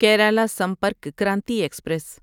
Kerala Sampark Kranti express